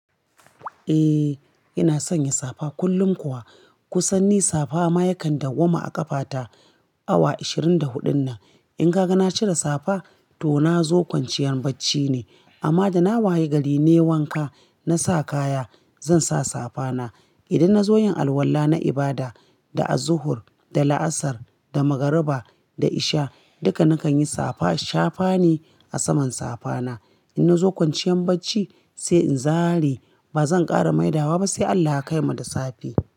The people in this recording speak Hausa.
Eh ina sanya safa kullum kuwa. Kusan ni safa ma yakan dawwama a ƙafata awa ashirin da huɗun nan. In gaga na cire safa to na zo kwanciyan bacci ne. Amma da na wayi gari nai wanka na sa kaya zan sa safa na. Idan na zo yin alwala na ibada, da azuhur, da la'asar, da magariba, da isha duka na kan yi safa shafa ne a saman safa na. In na zo kwanciyar bacci sai in zare ba zan ƙara maida wa ba sai Allah ya kaimu da safe.